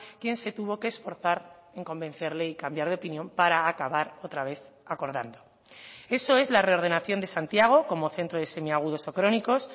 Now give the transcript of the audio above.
quien se tuvo que esforzar en convencerle y cambiar de opinión para acabar otra vez acordando eso es la reordenación de santiago como centro de semiagudos o crónicos